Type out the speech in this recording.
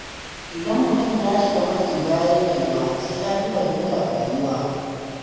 Idan mutum ya shiga matsi bayan yalwa, sai yafi fahimtar rayuwa.